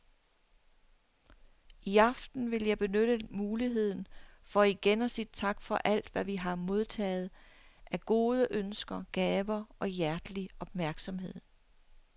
I aften vil jeg benytte muligheden for igen at sige tak for alt, hvad vi har modtaget af gode ønsker, gaver og hjertelig opmærksomhed.